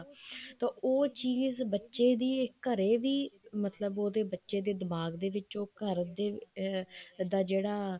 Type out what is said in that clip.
ਤਾਂ ਉਹ ਚੀਜ਼ ਬੱਚੇ ਦੀ ਘਰੇ ਵੀ ਮਤਲਬ ਉਹਦੇ ਬੱਚੇ ਦੇ ਦਿਮਾਗ ਦੇ ਵਿੱਚ ਘਰ ਦਾ ਜਿਹੜਾ